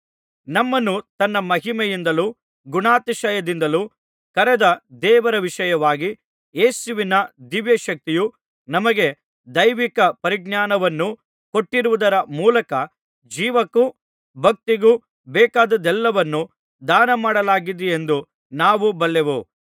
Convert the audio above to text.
ನಮ್ಮನ್ನು ತನ್ನ ಮಹಿಮೆಯಿಂದಲೂ ಗುಣಾತಿಶಯದಿಂದಲೂ ಕರೆದ ದೇವರ ವಿಷಯವಾಗಿ ಯೇಸುವಿನ ದಿವ್ಯಶಕ್ತಿಯು ನಮಗೆ ದೈವಿಕ ಪರಿಜ್ಞಾನವನ್ನು ಕೊಟ್ಟಿರುವುದರ ಮೂಲಕ ಜೀವಕ್ಕೂ ಭಕ್ತಿಗೂ ಬೇಕಾದದ್ದೆಲ್ಲವನ್ನೂ ದಾನಮಾಡಲಾಗಿದೆಯೆಂದು ನಾವು ಬಲ್ಲೆವು